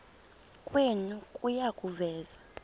kwenu kuya kuveza